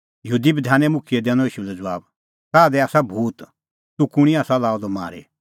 यहूदी मुखियै दैनअ ईशू लै ज़बाब ताह दी आसा भूत तूह कुंणी आसा लाअ द मारी